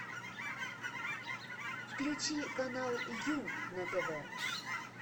включи канал ю на тв